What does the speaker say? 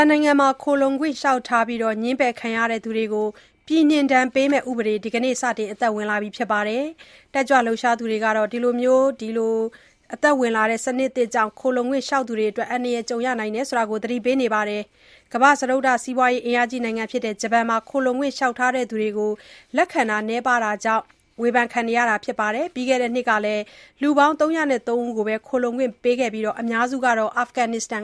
န်နိုင်ငံမှာ ခိုလှုံခွင့် လျှောက်ထားပြီးနောက် ငြင်းပယ်ခံရသူတွေကို ပြည်နှင်ဒဏ်ပေးမယ့် ဥပဒေ ဒီနေ့ကစတင် အသက် ဝင်လာပါပြီ။ တက်ကြွလှုပ်ရှားသူတွေကတော့ ဒီစနစ်သစ်ကြောင့် ခိုလှုံခွင့်လျှောက်သူတွေ အန္တရာယ် ကြုံရနိုင်တယ်လို့ သတိပေးနေပါတယ်။ ကမ္ဘာ့စတုတ္ထစီးပွားရေးအင်အာကြီးနိုင်ငံဖြစ်တဲ့ ဂျပန်နိုင်ငံဟာ ခိုလှုံခွင့် လျှောက်ထားသူတွကို လက်ခံတာ နည်းပါးတာကြောင့် ဝေဖန်ခံနေရတာပါ။ ပြီးခဲ့တဲ့နှစ်ကလည်း လူပေါင်း ၃၀၃ ဦးကိုသာ ခိုလှုံခွင့်ပေးခဲ့ပြီး အများစုကတော့ အာဖဂန်နစ္စတန်